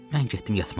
Mən getdim yatmağa.